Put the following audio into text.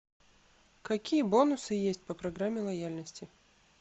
какие бонусы есть по программе лояльности